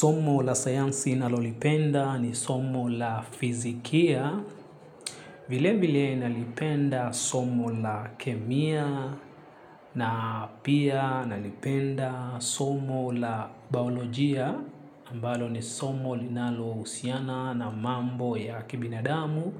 Somo la sayansi nalolipenda ni somo la fizikia. Vile vile nalipenda somo la kemia na pia nalipenda somo la baolojia. Ambalo ni somo linalohusiana na mambo ya kibinadamu,